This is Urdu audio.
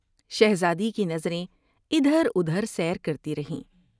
شہزادی کی نظریں ادھر ادھر سیر کرتی رہیں ۔